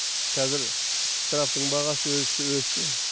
қазір штрафтың бағасы өсті өсті